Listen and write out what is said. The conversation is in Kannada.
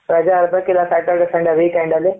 ರಜೆ ಇರಬೇಕು ಇಲ್ಲ Saturday Sunday weekend ಅಲ್ಲಿ